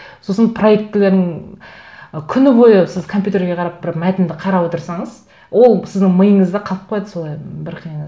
сосын проектілерін күні бойы сіз компьютерге қарап бір мәтінді қарап отырсаңыз ол сіздің миыңызда қалып қояды солай бір қиыны